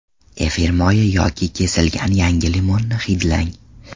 Efir moyi yoki kesilgan yangi limonni hidlang.